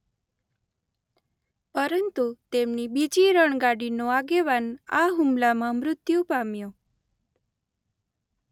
પરંતુ તેમની બીજી રણગાડીનો આગેવાન આ હુમલામાં મૃત્યુ પામ્યો.